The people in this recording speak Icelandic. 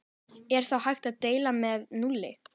Er þá hægt að deila með núlli?